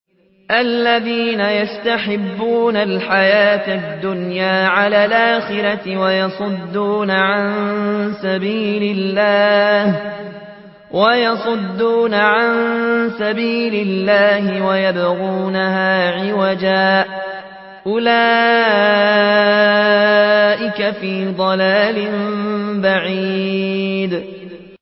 الَّذِينَ يَسْتَحِبُّونَ الْحَيَاةَ الدُّنْيَا عَلَى الْآخِرَةِ وَيَصُدُّونَ عَن سَبِيلِ اللَّهِ وَيَبْغُونَهَا عِوَجًا ۚ أُولَٰئِكَ فِي ضَلَالٍ بَعِيدٍ